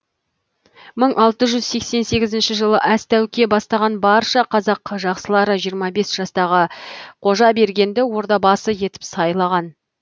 мың алты жүз сексен сегізінші жылы әз тәуке бастаған барша қазақ жақсылары жиырма бес жастағы қожабергенді ордабасы етіп сайлаған